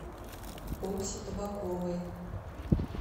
окси табаковой